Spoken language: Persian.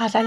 می در